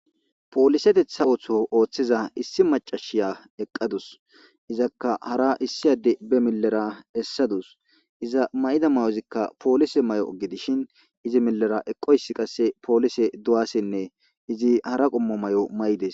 Poolisetetha ootho oothiza issi maccasiya eqqadus. Izaka hara issi adde be millera essadus. Iza mayida mayozika poolise mayo gidishin,izi millera eqqoysi,qasse poolise duwasenne izi qasse hara qommo mayo mayidees.